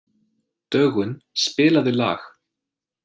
Dögun, spilaðu lag.